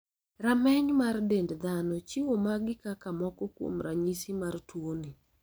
Rameny mar dend dhano chiwo magi kaka moko kuom ranyisi mar tuoni.